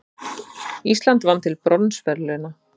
Ísland vann til bronsverðlauna